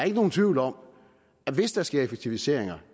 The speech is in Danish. ikke nogen tvivl om at hvis der sker effektiviseringer